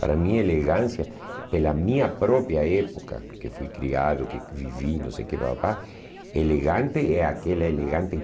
Para mim, elegância, pela minha própria época, que fui criado, que vivi, não sei o que pá pá pá, elegante é aquela elegante